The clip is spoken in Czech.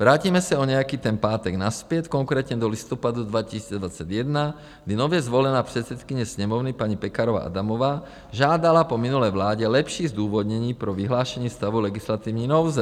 Vrátíme se o nějaký ten pátek nazpět, konkrétně do listopadu 2021, kdy nově zvolená předsedkyně Sněmovny paní Pekarová Adamová žádala po minulé vládě lepší zdůvodnění pro vyhlášení stavu legislativní nouze.